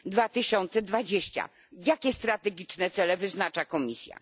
2020? Jakie cele strategiczne wyznacza Komisja?